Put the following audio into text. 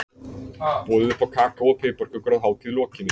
Boðið upp á kakó og piparkökur að hátíð lokinni.